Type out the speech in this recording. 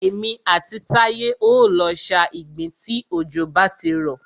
Èmi àti Táyé o lọ sa ìgbín tí òjò bá ti rọ̀.